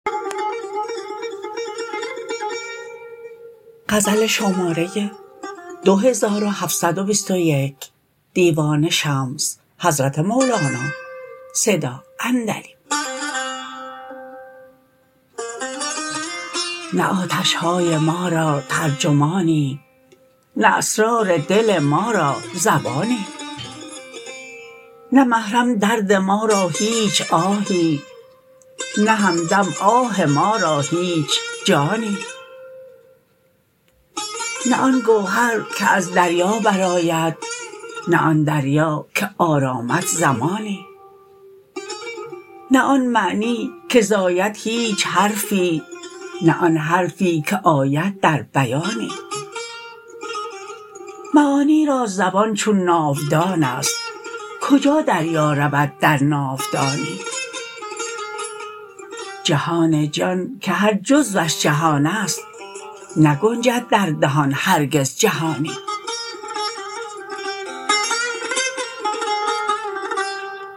نه آتش های ما را ترجمانی نه اسرار دل ما را زبانی نه محرم درد ما را هیچ آهی نه همدم آه ما را هیچ جانی نه آن گوهر که از دریا برآمد نه آن دریا که آرامد زمانی نه آن معنی که زاید هیچ حرفی نه آن حرفی که آید در بیانی معانی را زبان چون ناودان است کجا دریا رود در ناودانی جهان جان که هر جزوش جهان است نگنجد در دهان هرگز جهانی